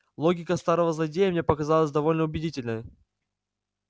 логика старого злодея мне показалась довольно убедительная